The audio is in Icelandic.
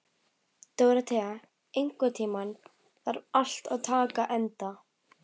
Dóróþea, einhvern tímann þarf allt að taka enda.